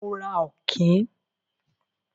Mo ra Ọ̀kín.